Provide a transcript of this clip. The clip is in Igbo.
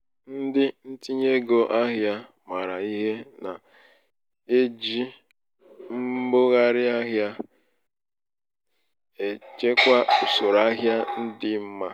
ndị ntinye ego ahịa maara ihe na -eji mbugharị ahịa g echekwa usoro ahịa dị mma.